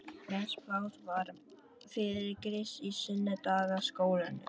Mest pláss var fyrir Krist í sunnudagaskólanum.